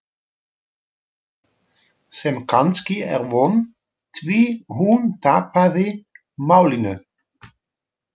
Sem kannski er von, því hún tapaði málinu.